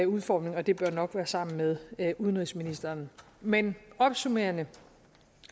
udformning og det bør nok være sammen med udenrigsministeren men opsummerende